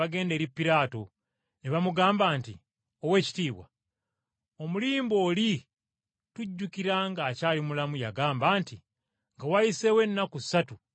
ne bamugamba nti, “Oweekitiibwa, omulimba oli tujjukira ng’akyali mulamu yagamba nti, ‘Nga wayiseewo ennaku ssatu ndizuukira.’